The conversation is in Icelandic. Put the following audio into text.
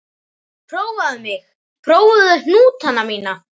Prófaðu mig, prófaðu hnútana mína.